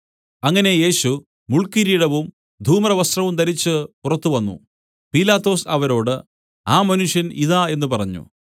അങ്ങനെ യേശു മുൾക്കിരീടവും ധൂമ്രവസ്ത്രവും ധരിച്ചു പുറത്തു വന്നു പീലാത്തോസ് അവരോട് ആ മനുഷ്യൻ ഇതാ എന്നു പറഞ്ഞു